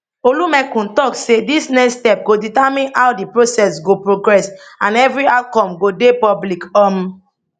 olumekun tok say dis next step go determine how di process go progress and evri outcome go dey public um